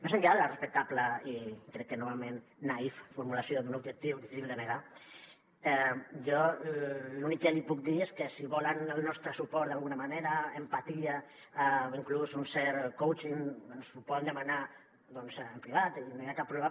més enllà de la respectable i crec que novament naïf formulació d’un objectiu difícil de negar jo l’únic que li puc dir és que si volen el nostre suport d’alguna manera empatia inclús un cert coaching ens ho poden demanar doncs en privat i no hi ha cap problema